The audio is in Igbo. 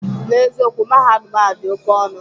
N'eziokwu, Mahadum ahụ dị oke ọnụ